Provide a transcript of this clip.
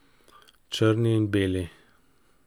Črni in beli.